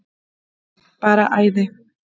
Bara æði.